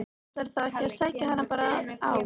Ætlarðu þá ekki að sækja hana bara á